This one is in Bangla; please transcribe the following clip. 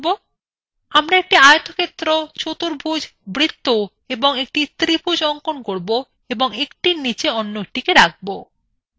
আমরা একটি আয়তক্ষেত্র চতুর্ভুজ বৃত্ত এবং একটি ত্রিভুজ অঙ্কন করব এবং একটির নীচে a একটিকে রাখব